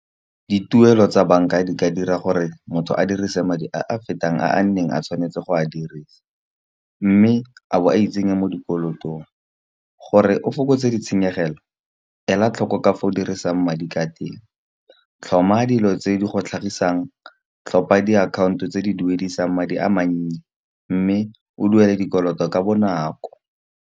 Dituelo tsa bank-a di ka dira gore motho a dirise madi a a fetang a neng a tshwanetse go a dirisa. Mme a bo a itsenye mo dikolotong gore o fokotse ditshenyegelo, ela tlhoko ka fa o dirisang madi ka teng. Tlhoma dilo tse di go tlhagisang tlhopha diakhaonto tse di duediswang madi a mannye, mme o duele dikoloto ka bonako.